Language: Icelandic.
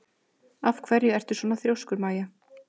Af hverju ertu svona þrjóskur, Maia?